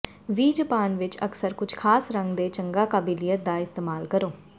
ਵੀ Japan ਵਿੱਚ ਅਕਸਰ ਕੁਝ ਖਾਸ ਰੰਗ ਦੇ ਚੰਗਾ ਕਾਬਲੀਅਤ ਦਾ ਇਸਤੇਮਾਲ ਕਰੋ